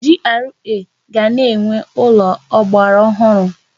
GRA ga na-enwe ụlọ ọgbaraọhụrụ.